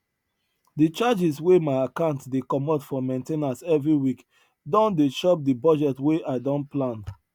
the charges wey my account dey comot for main ten ance every week don dey chop the budget wey i don plan